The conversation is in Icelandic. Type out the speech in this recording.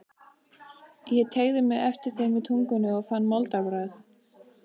Ég teygði mig eftir þeim með tungunni og fann moldarbragð.